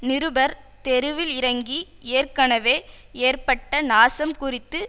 நிருபர் தெருவில் இறங்கி ஏற்கனவே ஏற்பட்ட நாசம் குறித்து